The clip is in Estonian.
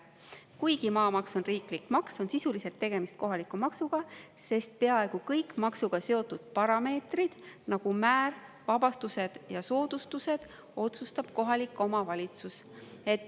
Kuigi maamaks on riiklik maks, on sisuliselt tegemist kohaliku maksuga, sest peaaegu kõik maksuga seotud parameetrid, nagu määr, vabastused ja soodustused, otsustab kohalik omavalitsus.